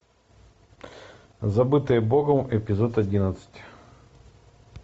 забытые богом эпизод одиннадцать